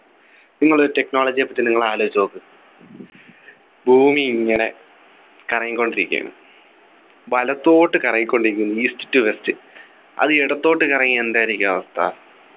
നിങ്ങള് technology യെപ്പറ്റി നിങ്ങൾ ആലോചിച്ചു നോക്ക് ഭൂമി ഇങ്ങനെ കറങ്ങിക്കൊണ്ടിരിക്കുകയാണ് വലത്തോട്ട് കറങ്ങിക്കൊണ്ടിരിക്കുന്നു east to west അത് ഇടത്തോട്ട് കറങ്ങിയാൽ എന്തായിരിക്കും അവസ്ഥ